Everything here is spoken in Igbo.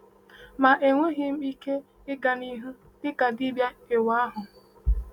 Ma enweghị m ike ịga n’ihu dịka dibịa ịwa ahụ.